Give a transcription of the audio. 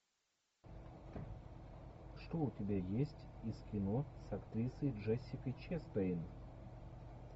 что у тебя есть из кино с актрисой джессикой честейн